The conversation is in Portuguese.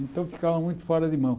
Então ficava muito fora de mão.